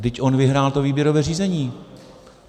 Vždyť on vyhrál to výběrové řízení.